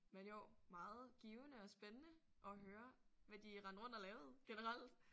Men jo meget givende og spænende at høre hvad de rendte rundt og lavede generelt